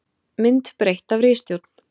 Mynd breytt af ritstjórn.